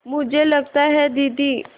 मुझे लगता है दीदी